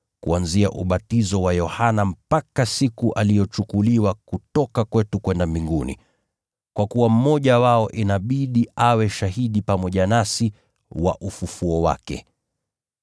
kuanzia ubatizo wa Yohana mpaka siku aliyochukuliwa kutoka kwetu kwenda Mbinguni. Kwa kuwa mmoja wao inabidi awe shahidi pamoja nasi wa ufufuo wake.”